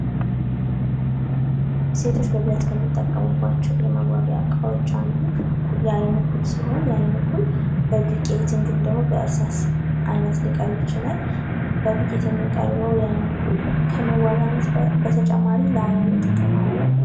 ሴቶች በብዛት ከሚጠቀሙባቸው የመዋቢያ ዕቃዎች አንዱ የአይን ኩል ሲሆን ፤ ይህ አይን ኩል በዱቄት እንዲሁም ደግሞ፤ በእርሳስ ዓይነት ሊቀርብ ይችላል። በዱቄት የሚቀርበው የአይን ኩል ከመዋቢያነት በተጨማሪ ለአይን ጥቅም አለው።